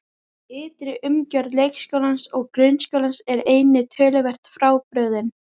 Ytri umgjörð leikskólans og grunnskólans er einnig töluvert frábrugðin.